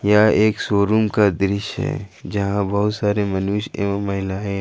यह एक शोरूम का दृश्य है जहां बहुत सारे मनुष्य एवं महिला है।